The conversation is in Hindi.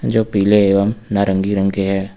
जो पीले एवं नारंगी रंग के हैं।